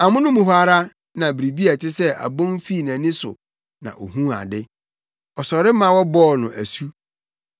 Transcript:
Amono mu hɔ ara na biribi a ɛte sɛ abon fii nʼani so na ohuu ade. Ɔsɔre ma wɔbɔɔ no asu.